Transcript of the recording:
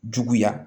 Juguya